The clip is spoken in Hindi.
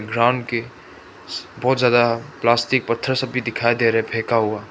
ग्राउंड के बहुत ज्यादा प्लास्टिक पत्थर सब भी दिखाई दे रहे फेंका हुआ।